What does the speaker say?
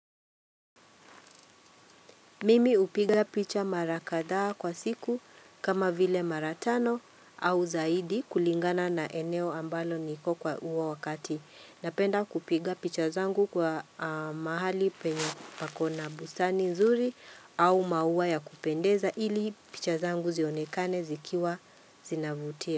Mimi hupiga picha mara kadhaa kwa siku kama vile mara tano au zaidi kulingana na eneo ambalo niko kwa huo wakati. Napenda kupiga picha zangu kwa mahali penye pako na bustani nzuri au mauwa ya kupendeza ili picha zangu zionekane zikiwa zinavutia.